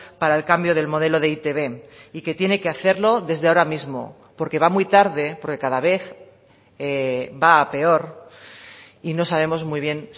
para el cambio del modelo de e i te be y que tiene que hacerlo desde ahora mismo porque va muy tarde porque cada vez va a peor y no sabemos muy bien